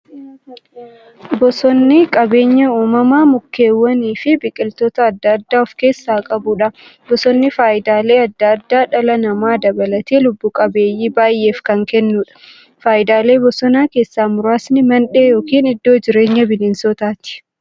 Bosonni qabeenya uumamaa mukkeewwaniifi biqiltoota adda addaa of keessaa qabudha. Bosonni faayidaalee adda addaa dhala namaa dabalatee lubbuu qabeeyyii baay'eef kan kennuudha. Faayidaalee bosonaa keessaa muraasni; Mandhee yookin iddoo jireenya bineensotaati.